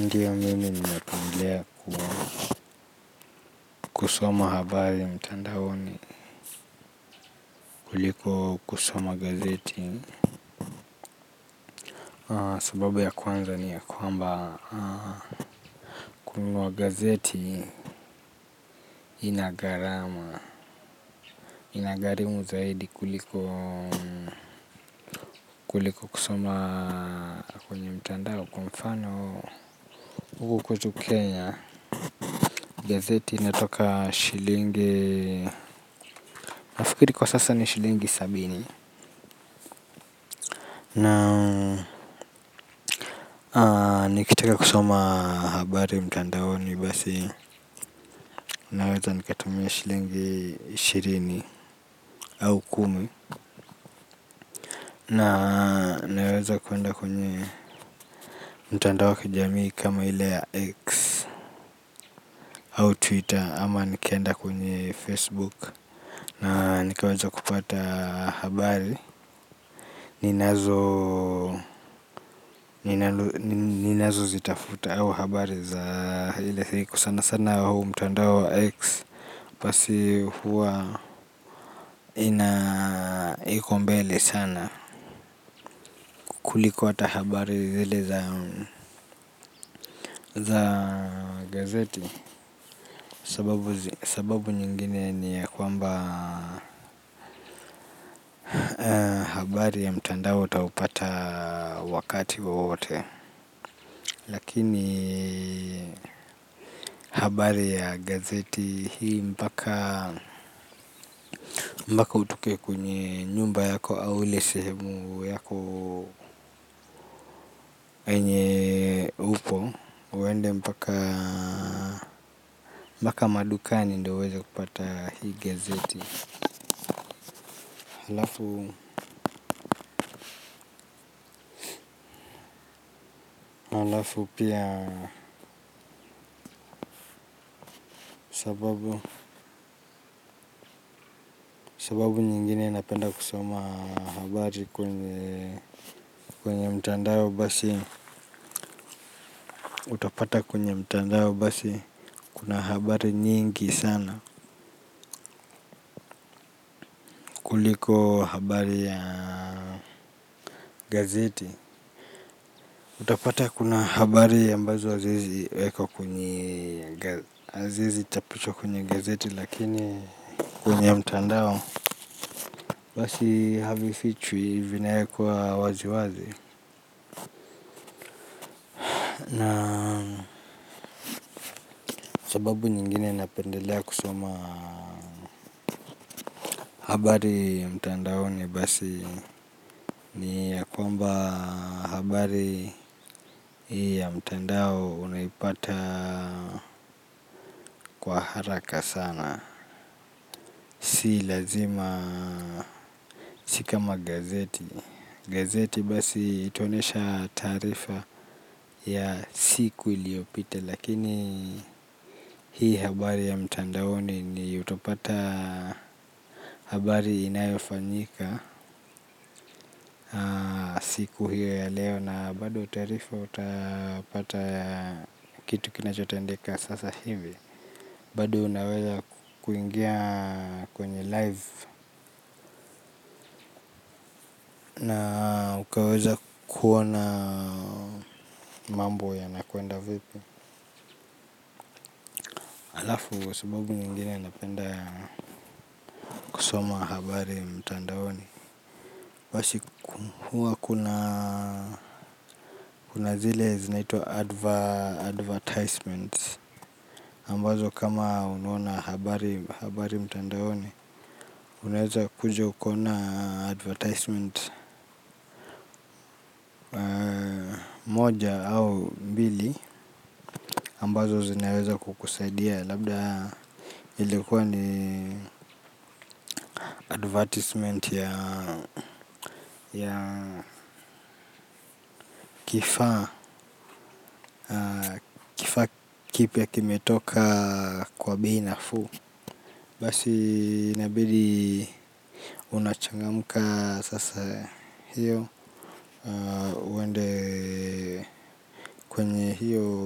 Ndiyo mimi ninapendelea kwa kusoma habari mtandaoni kuliko kusoma gazeti. Sababu ya kwanza ni yakwamba kununua gazeti inagharama, inagharimu zaidi kuliko kweli kwa kusoma kwenye mtandao kwa mfano huko kwetu Kenya gazeti inatoka shilingi nafikiri kwasasa ni shilingi sabini. Na nikitaka kusoma habari mtandaoni basi naweza nikatumia shilingi ishirini au kumi. Na naweza kuenda kwenye mtandao wakijamii kama ile ya X. Au Twitter ama nikaenda kwenye Facebook. Na nikaweza kupata habari. Ninazo zitafuta au habari za ile siku. Sana sana huu mtandao X basi huwa ina iko mbele sana kuliko ata habari zile za gazeti sababu sababu nyingine ni ya kwamba habari ya mtandao utaupata wakati wowote. Lakini habari ya gazeti hii mpaka utoke kwenye nyumba yako au ile sehemu yako yenye upo uende mpaka madukani ndio uweze kupata hii gazeti. Halafu halafu pia sababu sababu nyingine napenda kusoma habari kwenye mtandao basi. Utapata kwenye mtandao basi kuna habari nyingi sana kuliko habari ya gazeti. Utapata kuna habari ambazo hazi wezi wekwa kwenye haziwezi chapishwa kwenye gazeti lakini kwenye mtandao. Basi havi fichwi hivi vinawekwa wazi wazi. Na sababu nyingine napendelea kusoma habari ya mtandaoni basi ni ya kwamba habari hii ya mtandao unaipata kwa haraka sana. Si lazima si kama gazeti. Gazeti basi itaonesha taarifa ya siku iliopita. Lakini hii habari ya mtandaoni ni utapata habari inayofanyika siku hiyo ya leo. Na bado taarifa utapata kitu kinachotendeka sasa hivi. Bado unaweza kuingia kwenye live. Na ukaweza kuona mambo yanakwenda vipi. Alafu kwa sababu nyingine napenda kusoma habari mtandaoni basi huwa kuna kuna zile zinaitwa advertisement ambazo kama unaona habari mtandaoni. Unaweza kuja ukaona advertisement moja au mbili ambazo zinaweza kukusaidia. Labda ilikuwa ni advertisement ya kifaa kipya kimetoka kwa bei nafuu. Basi inabidi unachangamka sasa hiyo uende kwenye hiyo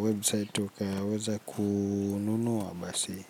website ukaweza kununua basi.